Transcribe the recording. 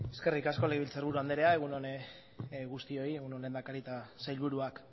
eskerrik asko legebiltzarburu andrea egun on guztioi egun on lehendakari eta sailburuak